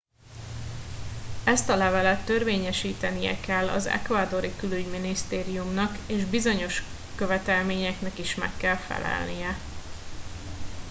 ezt a levelet törvényesítenie kell az ecuadori külügyminisztériumnak és bizonyos követelményeknek is meg kell felelnie